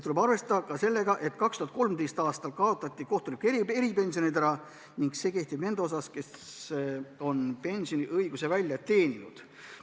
Tuleb arvestada sellega, et 2013. aastal kaotati kohtunike eripensionid ära ning see kehtib nende puhul, kes on pensioniõiguse välja teeninud.